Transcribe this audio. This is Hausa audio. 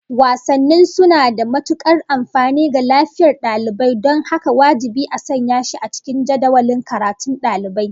Wasanni suna da matukar amfani ga lafiyar dalibai don haka wajibi a sanya shi a cikin jadawalin karatun daliban